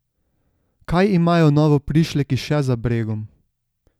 Kaj imajo novoprišleki še za bregom?